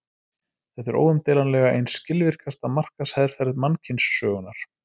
Þetta er óumdeilanlega ein skilvirkasta markaðsherferð mannkynssögunnar.